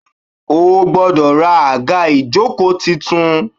O gbọ́dọ̀ ra àga ìjókòó tuntun